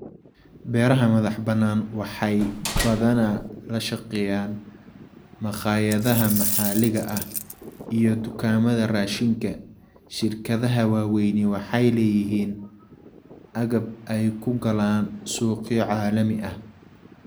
Beeraha madax-bannaan waxay badanaa la shaqeeyaan makhaayadaha maxalliga ah iyo dukaamada raashinka. Shirkadaha waaweyni waxay leeyihiin agab ay ku galaan suuqyo caalami ah.